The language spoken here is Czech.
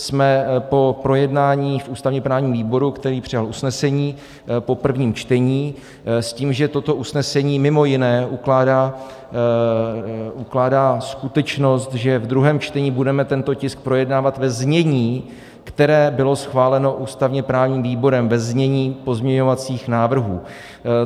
Jsme po projednání v ústavně-právním výboru, který přijal usnesení po prvním čtení s tím, že toto usnesení mimo jiné ukládá skutečnost, že ve druhém čtení budeme tento tisk projednávat ve znění, které bylo schváleno ústavně-právním výborem, ve znění pozměňovacích návrhů.